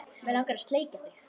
Mig langar að sleikja þig.